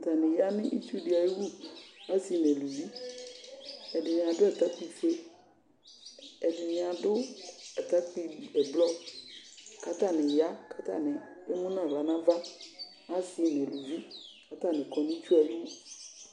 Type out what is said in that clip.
Atani ya nʋ itsuɖi ayiwu, aasi nʋ aaluvi Ɛɖini aɖʋ atakpui foeƐɖini aɖʋ atakpui ʋblɔ, k'atani yaa, k'atani emu n'awla n'avaAasi nʋ aalʋvi k'atani kɔ nʋ itsuɛ wu